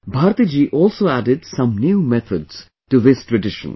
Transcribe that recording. Bharti ji also added some new methods to this tradition